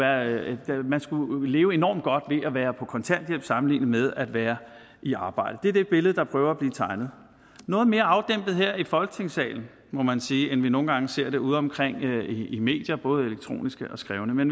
at man skulle leve enormt godt ved at være på kontanthjælp sammenlignet med at være i arbejde det er det billede man prøver at tegne noget mere afdæmpet her i folketingssalen må man sige end vi nogle gange ser det udeomkring i medier både elektroniske og skrevne men